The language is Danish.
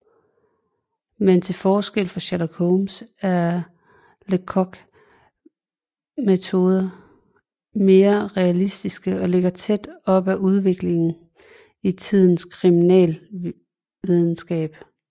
Men til forskel fra Sherlock Holmes er Lecoqs metoder mere realistiske og ligger tæt op ad udviklingen i tidens kriminalvidenskab